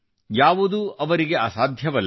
ಯಾವುದೂ ಅವರಿಗೆ ಅಸಾಧ್ಯವಲ್ಲ